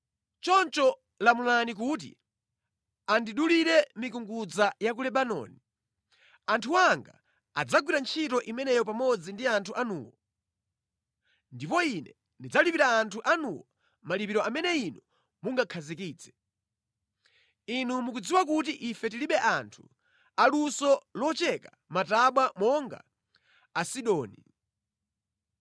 “Choncho lamulani kuti andidulire mikungudza ya ku Lebanoni. Anthu anga adzagwira ntchito imeneyo pamodzi ndi anthu anuwo, ndipo ine ndidzalipira anthu anuwo malipiro amene inu mungakhazikitse. Inu mukudziwa kuti ife tilibe anthu aluso locheka matabwa monga Asidoni.”